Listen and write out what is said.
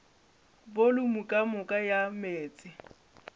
volumo ka moka ya meetse